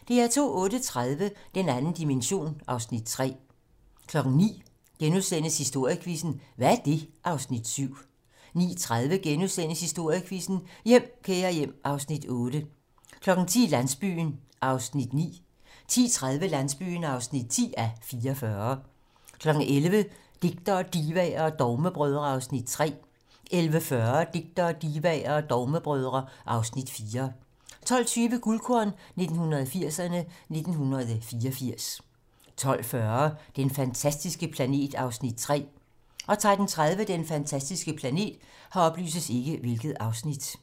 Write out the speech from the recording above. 08:30: Den 2. dimension (Afs. 3) 09:00: Historiequizzen: Hvad er det? (Afs. 7)* 09:30: Historiequizzen: Hjem, kære hjem (Afs. 8)* 10:00: Landsbyen (9:44) 10:30: Landsbyen (10:44) 11:00: Digtere, divaer og dogmebrødre (Afs. 3) 11:40: Digtere, divaer og dogmebrødre (Afs. 4) 12:20: Guldkorn 1980'erne: 1984 12:40: Den fantastiske planet (Afs. 3) 13:30: Den fantastiske planet